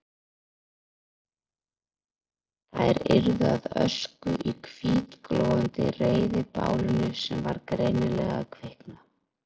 Þær yrðu að ösku í hvítglóandi reiðibálinu sem var greinilega að kvikna.